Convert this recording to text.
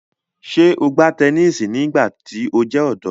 Ṣe o gba tẹnisi nigbati o jẹ ọdọ?